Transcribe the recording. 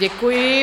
Děkuji.